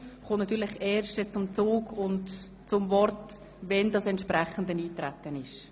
Diese werden natürlich nur behandelt, wenn auf das Geschäft eingetreten wird.